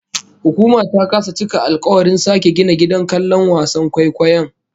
Hukuma ta kasa cika alkawarin sake gina gidan kallon wasan kwaikwayon